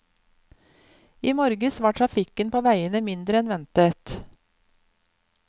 I morges var trafikken på veiene mindre enn ventet.